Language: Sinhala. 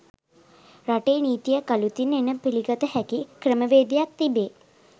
රටේ නිතීයක් අළුතින් එන පිළිගත හැකි ක්‍රමවේදයක් තිබේ.